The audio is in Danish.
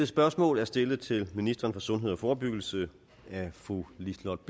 spørgsmål er stillet til ministeren for sundhed og forebyggelse af fru liselott